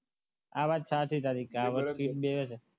આ વાર